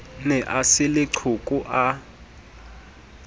ne a se leqhoko a